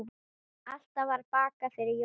Alltaf var bakað fyrir jólin.